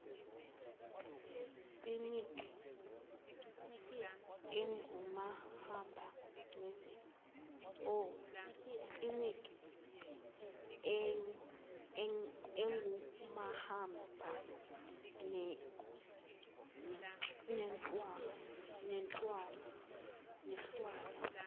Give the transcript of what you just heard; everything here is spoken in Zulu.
kliniki engumahamba nendlwana